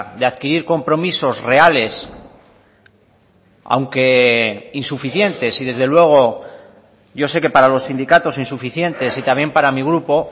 de adquirir compromisos reales aunque insuficientes y desde luego yo sé que para los sindicatos insuficientes y también para mi grupo